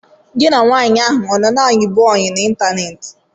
Gị na nwaanyị ahụ a na-ayibu oyị n'ịntaneetị?